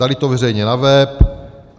Dali to veřejně na web.